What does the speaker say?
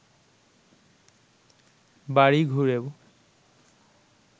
বাড়ি ঘুরেও